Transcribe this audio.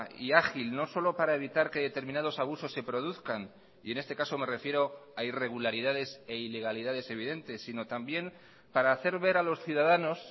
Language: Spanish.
y ágil no solo para evitar que determinados abusos se produzcan y en este caso me refiero a irregularidades e ilegalidades evidentes sino también para hacer ver a los ciudadanos